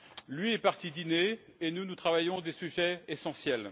Lui est parti dîner et nous, nous travaillons à des sujets essentiels.